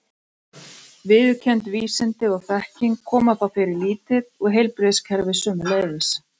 Viðurkennd vísindi og þekking koma þá fyrir lítið og heilbrigðiskerfið sömuleiðis.